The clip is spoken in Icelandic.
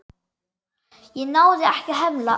Ég náði ekki að hemla.